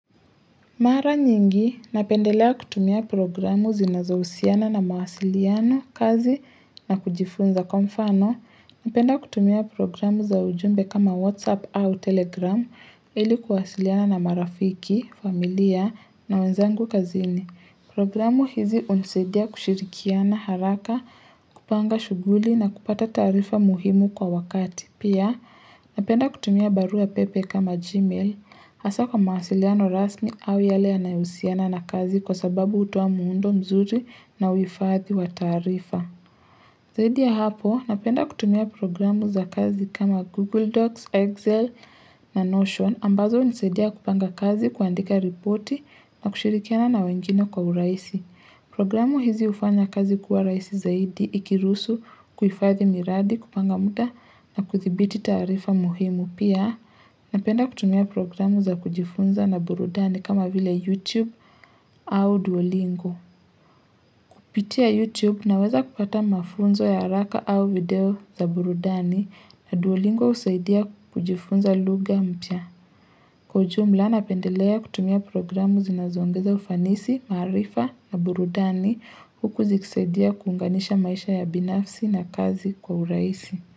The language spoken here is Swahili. Mara nyingi, napendelea kutumia programu zinazo husiana na mawasiliano, kazi na kujifunza kwa mfano. Napenda kutumia programu za ujumbe kama WhatsApp au Telegram, ili kuwasiliana na marafiki, familia na wenzangu kazini. Programu hizi unusaidia kushirikiana haraka, kupanga shuguli na kupata taarifa muhimu kwa wakati. Pia napenda kutumia barua pepe kama Gmail hasa kwa mawasiliano rasmi au yale yanayohusiana na kazi kwa sababu utoa muundo mzuri na uifadhi wa taarifa. Zaidi ya hapo napenda kutumia programu za kazi kama Google Docs, Excel na Notion ambazo hunisaidia kupanga kazi kuandika ripoti na kushirikiana na wengine kwa uraisi. Programu hizi ufanya kazi kuwa raisi zaidi ikirusu kuifadhi miradi kupanga muda na kuthibiti taarifa muhimu pia Napenda kutumia programu za kujifunza na burudani kama vile YouTube au Duolingo Kupitia YouTube naweza kupata mafunzo ya haraka au video za burudani na Duolingo husaidia kujifunza luga mpya Kwa ujumla napendelea kutumia programu zinazongeza ufanisi, maarifa na burudani huku zikisaidia kuunganisha maisha ya binafsi na kazi kwa uraisi.